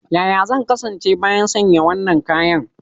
Yaya zan kasance bayan sanya wannan kayan?